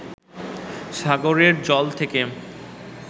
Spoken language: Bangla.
সাগরের জল থেকে